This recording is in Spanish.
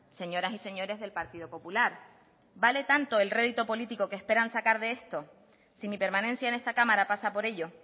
señoras y señores del partido popular vale tanto el rédito político que esperan sacar de esto si mi permanencia en esta cámara pasa por ello